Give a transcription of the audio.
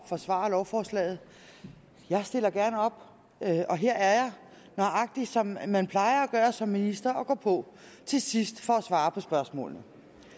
forsvare lovforslaget jeg stiller gerne op og her er jeg nøjagtig som man plejer at gøre som minister nemlig at gå på til sidst for at svare på spørgsmålene